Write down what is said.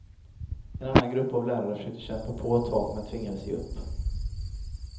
En annan grupp av lärare försöker kämpa på ett tag, men tvingas ge upp.